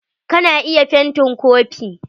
Ka na iya fent kopi.